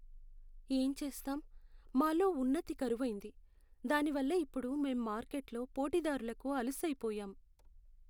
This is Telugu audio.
ఏం చేస్తాం, మాలో ఉన్నతి కరువైంది, దానివల్ల ఇప్పుడు మేం మార్కెట్లో పోటీదారులకి అలుసైపోయాం.